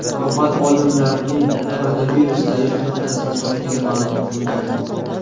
Avval olimlarning koronavirus zaif nuqtasini topgani ma’lum qilingan.